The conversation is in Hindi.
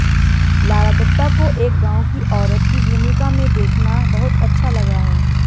लारा दत्ता को एक गांव की औरत की भूमिका में देखना बहुत अच्छा लगा है